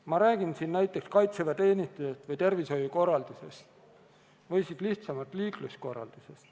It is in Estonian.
Ma räägin siin näiteks kaitseväeteenistusest või tervishoiukorraldusest või siis lihtsamalt, liikluskorraldusest.